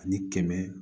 Ani kɛmɛ